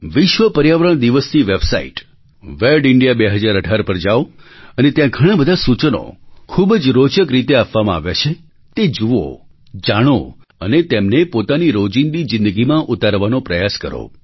વિશ્વ પર્યાવરણ દિવસની વેબસાઇટ વેડિન્ડિયા 2018 પર જાવ અને ત્યાં ઘણાં બધાં સૂચનો ખૂબ જ રોચક રીતે આપવામાં આવ્યાં છે તે જુઓ જાણો અને તેમને પોતાની રોજિંદી જિંદગીમાં ઉતારવાનો પ્રયાસ કરો